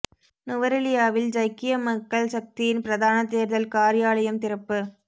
நுவரெலியாவில் ஜக்கிய மக்கள் சக்தியின் பிரதான தேர்தல் காரியாலயம் திறப்பு